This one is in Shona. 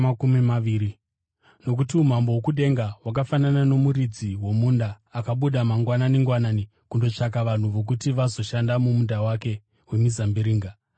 “Nokuti umambo hwokudenga hwakafanana nomuridzi womunda akabuda mangwanani-ngwanani kundotsvaka vanhu vokuti vazoshanda mumunda wake wemizambiringa.